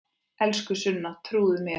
Elsku Sunna, trúðu mér!